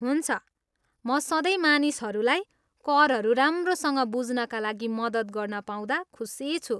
हुन्छ म सधैँ मानिसहरूलाई करहरू राम्रोसँग बुझ्नका लागि मद्दत गर्न पाउँदा खुसी छु।